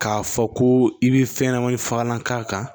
K'a fɔ ko i bɛ fɛn ɲɛnɛmani fagalan k'a kan